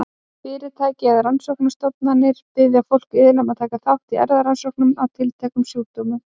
Fyrirtæki eða rannsóknastofnanir biðja fólk iðulega um að taka þátt í erfðarannsóknum á tilteknum sjúkdómum.